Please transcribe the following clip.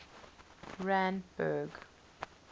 randburg